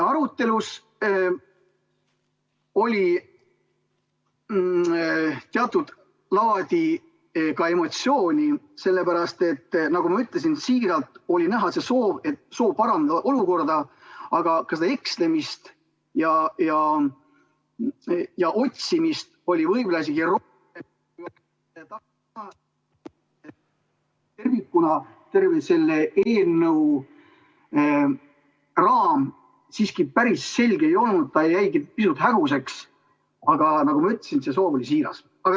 Arutelus oli ka teatud laadi emotsiooni, sellepärast et, nagu ma ütlesin, siiralt oli näha seda soovi parandada olukorda, aga ka seda ekslemist ja otsimist oli ...... tervikuna terve selle eelnõu raam siiski päris selge ei olnud, ta jäigi pisut häguseks, aga nagu ma ütlesin, see soov oli siiras.